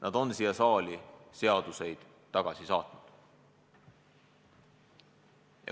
Nad on siia saali seaduseid tagasi saatnud.